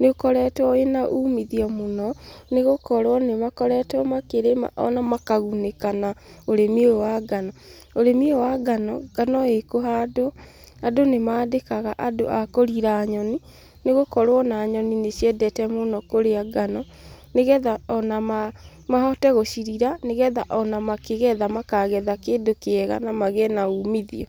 Nĩ ũkoretwo wĩna umithio mũno, nĩgũkorwo nĩ makoretwo makĩrĩma ona makagunĩka na ũrĩmi ũyũ wa ngano. Ũrĩmi ũyũ wa ngano, ngano ĩkũhandwo, andũ nĩ mandĩkaga andũ a kũrira nyoni, nĩ gũkorwo ona nyoni nĩ ciendete mũno kũrĩa ngano, nĩgetha ona mahote gũcirira, nĩgetha ona makĩgetha makagetha kĩndũ kĩega na magĩe na uumithio.